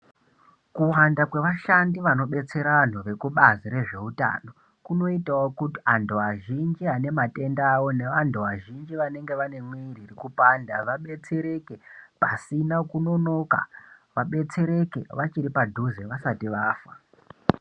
Kuwanda kwevashandi vanobetsera vanthu kubazi rezveutano kunoitawo kuti anthu azhinji aneatenda awo neanthu azhinji vanenge vane kupanda vadetsereke pasina kunonoka vadetsereke vachiri padhize pasina kunonoka vasati vafa.